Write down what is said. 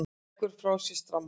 Leggur frá sér strammann.